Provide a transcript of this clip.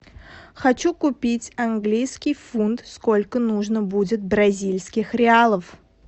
хочу купить английский фунт сколько нужно будет бразильских реалов